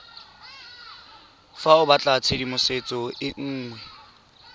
fa o batlatshedimosetso e nngwe